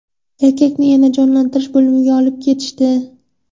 Erkakni yana jonlantirish bo‘limiga olib ketishdi.